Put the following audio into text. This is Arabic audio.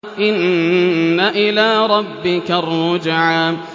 إِنَّ إِلَىٰ رَبِّكَ الرُّجْعَىٰ